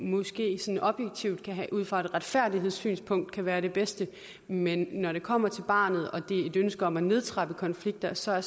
måske sådan objektivt og ud fra et retfærdighedssynspunkt kan være det bedste men når det kommer til barnet og et ønske om at nedtrappe konflikter så er